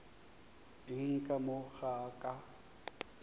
eng ka mo ga ka